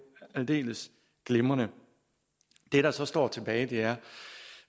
aldeles glimrende det der så står tilbage er